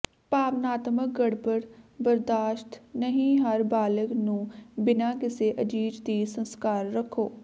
ਭਾਵਨਾਤਮਕ ਗੜਬੜ ਬਰਦਾਸ਼ਤ ਨਹੀ ਹਰ ਬਾਲਗ ਨੂੰ ਬਿਨਾ ਕਿਸੇ ਅਜ਼ੀਜ਼ ਦੀ ਸੰਸਕਾਰ ਰੱਖੋ